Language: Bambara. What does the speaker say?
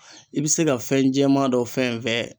I be se ka fɛn jɛma dɔ fɛn fɛn